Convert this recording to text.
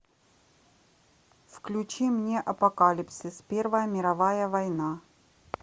включи мне апокалипсис первая мировая война